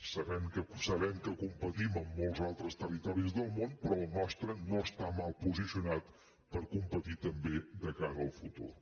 sabem que competim amb molts altres territoris del món però el nostre no està mal posicionat per competir també de cara al futur